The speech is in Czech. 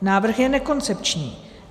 Návrh je nekoncepční.